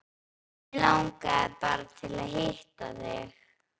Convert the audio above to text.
Mig langaði bara til að hitta þig.